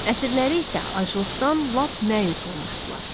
Əsirləri isə aclıqdan lap məyus olmuşdular.